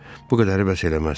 Bu qədəri bəs eləməz.